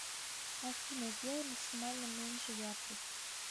афина сделай максимально меньше яркость